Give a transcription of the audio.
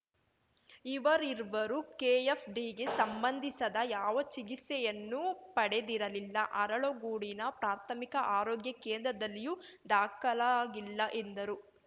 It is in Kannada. ಇವರೀರ್ವರೂ ಕೆಎಫ್‌ಡಿಗೆ ಸಂಬಂಧಿಸದ ಯಾವ ಚಿಕಿತ್ಸೆಯನ್ನೂ ಪಡೆದಿರಲಿಲ್ಲ ಅರಳಗೋಡಿನ ಪ್ರಾಥಮಿಕ ಆರೋಗ್ಯ ಕೇಂದ್ರದಲ್ಲಿಯೂ ದಾಖಲಾಗಿಲ್ಲ ಎಂದರು